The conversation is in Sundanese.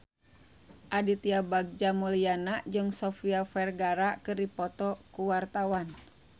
Aditya Bagja Mulyana jeung Sofia Vergara keur dipoto ku wartawan